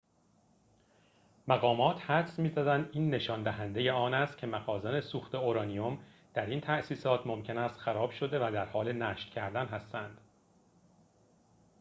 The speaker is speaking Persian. مقامات حدس می‌زنند این نشان دهنده آن است که مخازن سوخت اورانیم در این تاسیسات ممکن است خراب شده و در حال نشت کردن هستند